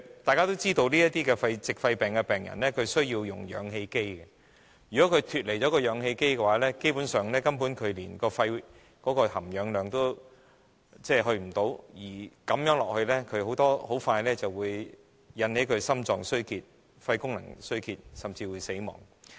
大家也知道，這些矽肺病的病人需要使用氧氣機，如果脫離氧氣機，基本上，他們的肺部含氧量不足，如此下去，很快便會引發心臟及肺功能衰竭，甚至會死亡。